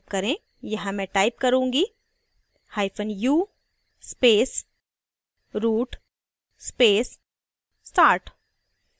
यहाँ मैं type करूँगीu space root space start